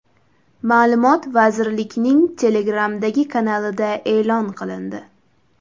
Ma’lumot vazirlikning Telegram’dagi kanalida e’lon qilindi .